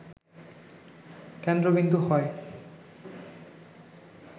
কেন্দ্রবিন্দু হয়